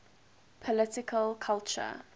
political culture